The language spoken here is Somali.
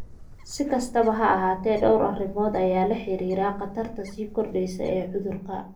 Si kastaba ha ahaatee, dhowr arrimood ayaa lala xiriiriyay khatarta sii kordheysa ee cudurka.